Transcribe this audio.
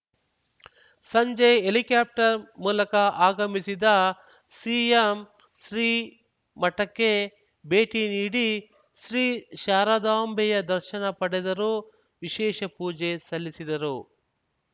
ಸಂಜೆ ಹೆಲಿಕ್ಯಾಪ್ಟರ್‌ ಮೂಲಕ ಆಗಮಿಸಿದ ಸಿಎಂ ಶ್ರೀ ಮಠಕ್ಕೆ ಭೇಟಿ ನೀಡಿ ಶ್ರೀ ಶಾರದಾಂಬೆಯ ದರ್ಶನ ಪಡೆದರು ವಿಶೇಷ ಪೂಜೆ ಸಲ್ಲಿಸಿದರು